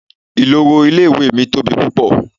Ìloro ilé ìwé mi tóbi púpọ̀.